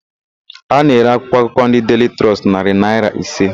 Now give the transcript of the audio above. A na-ere akwụkwọakụkọ ndị Deili Trọst narị naịra ise.